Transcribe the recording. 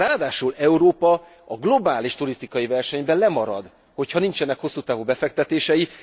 Ráadásul Európa a globális turisztikai versenyben lemarad, hogyha nincsenek hosszú távú befektetései.